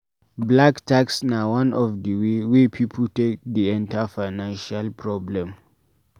Black tax na one of di way wey pipo take dey enter financial problem